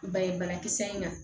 Ba ye banakisɛ in kan